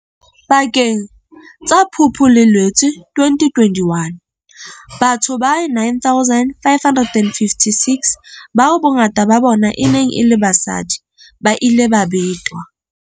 Pakeng tsa Phupu le Loetse 2021, batho ba 9 556, bao bongata ba bona e neng e le basadi, ba ile ba betwa.